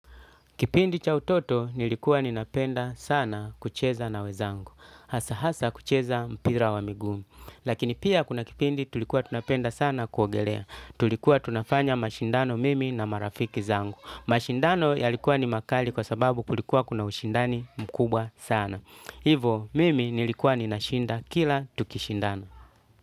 Kipindi cha utoto nilikuwa ninapenda sana kucheza na wenzangu. Hasa hasa kucheza mpira wa miguu. Lakini pia kuna kipindi tulikuwa tunapenda sana kuogelea. Tulikuwa tunafanya mashindano mimi na marafiki zangu. Mashindano yalikuwa ni makali kwa sababu kulikuwa kuna ushindani mkubwa sana. Hivo mimi nilikuwa ninashinda kila tukishindano.